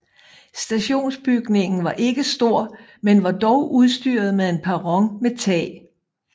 Stationsbygningen var ikke stor men var dog udstyret med en perron med tag